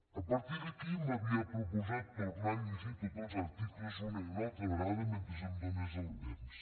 a partir d’aquí m’havia proposat tornar a llegir tots els articles una i altra vegada mentre em donés temps